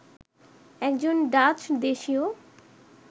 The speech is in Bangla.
একজন ডাচ দেশীয়